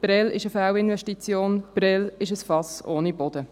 Prêles ist eine Fehlinvestition, Prêles ist ein Fass ohne Boden.